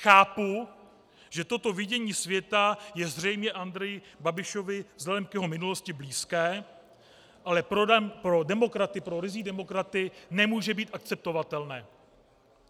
Chápu, že toto vidění světa je zřejmě Andreji Babišovi vzhledem k jeho minulosti blízké, ale pro demokraty, pro ryzí demokraty, nemůže být akceptovatelné.